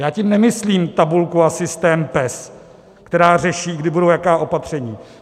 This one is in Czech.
Já tím nemyslím tabulku a systém PES, která řeší, kdy budou jaká opatření.